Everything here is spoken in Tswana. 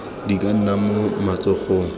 di ka nna mo matsogong